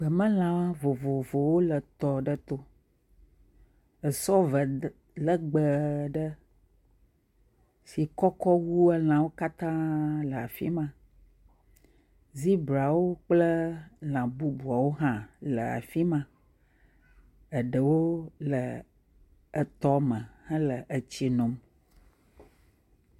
Gbemelãwo vovovowo le tɔ aɖe to. Esɔ ve d legbe aɖe si kɔkɔ wu elãwo katã le afi ma. Zebrawo kple lã bubuawo hã le afi ma. Eɖewo le etɔ me hele etsi nom.